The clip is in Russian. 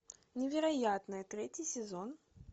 невероятная третий сезон